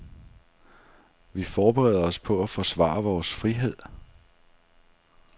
Vi forbereder os på at forsvare vores frihed.